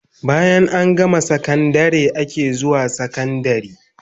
Bayan an gama sakandare ake zuwan sakandari